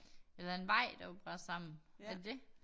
Eller en vej der var brast sammen men det